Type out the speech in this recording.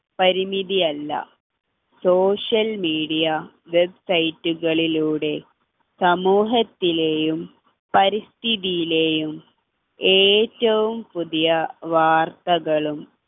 പരിമിതി അല്ല social media website കളിലൂടെ സമൂഹത്തിലെയും പരിസ്ഥിതിയിലെയും ഏറ്റവും പുതിയ വാർത്തളും